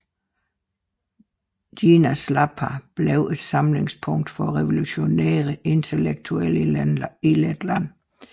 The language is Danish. Dienas Lapa blev et samlingspunkt for revolutionære intellektuelle i Letland